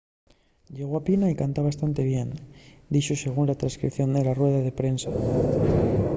ye guapina y canta bastante bien tamién” dixo según la trescripción de la rueda de prensa